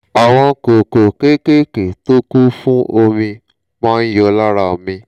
àwọn kókó kéékèèké tó kún fún omi máa ń yọ lára mi